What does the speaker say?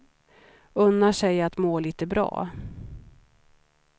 Unnar sig att må lite bra.